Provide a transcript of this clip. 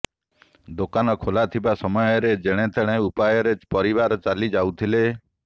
ଦୋକାନ ଖୋଲା ଥିବା ସମୟରେ ଜେଣେ ତେଣେ ଉପାୟରେ ପରିବାର ଚାଲି ଯାଉଥିଲେ